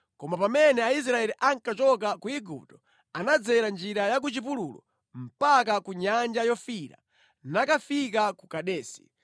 Koma pamene Aisraeli ankachoka ku Igupto anadzera njira ya ku chipululu mpaka ku Nyanja Yofiira nakafika ku Kadesi.